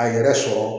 A yɛrɛ sɔrɔ